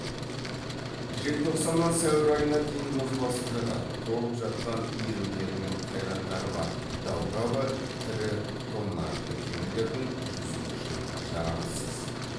желтоқсаннан сәуір айына дейін мұз басып жататын толып жатқан иірімдері мен қайраңдары бар даугава тірі тоннажды кемелердің жүзуі үшін жарамсыз